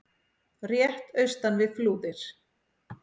rétt austan við Flúðir.